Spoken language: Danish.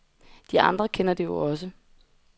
De andre kender det jo også.